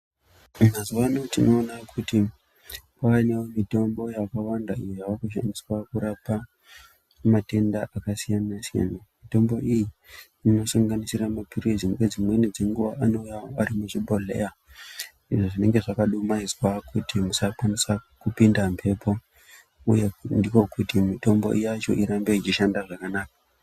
Mazuvaano tinowona kuti kwaane mitombo yakawanda iyo yaakushandiswa kurapa matenda akasiyana siyana .Mitombo iyi inosanganisira mapirisi, nedzimweni dze nguva anowuya arimuchoibhodheya izvo zvinenge zvakadumayidzwa kuti musakwanisa kupinda mhepo huye ndikokuti mitombo yacho irambe ichishanda zvakanaka.